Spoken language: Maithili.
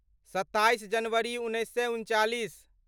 सत्ताइस जनवरी उन्नैस सए उनचालीस